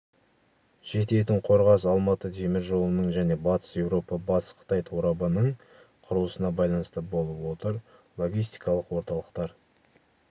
жететін қорғас-алматы теміржолының және батыс еуропа батыс қытай торабының құрылысына байланысты болып отыр логистикалық орталықтар